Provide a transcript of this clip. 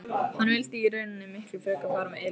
Hann vildi í rauninni miklu frekar fara með Elísu.